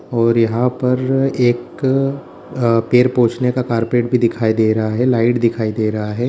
और यहां पर एक ए पैर पोछने का कार्पेट भी दिखाई दे रहा है लाइट दिखाई दे रहा है।